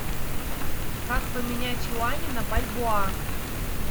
как поменять юани на бальбоа